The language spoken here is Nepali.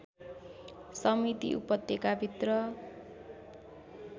समिति उपत्यका भित्र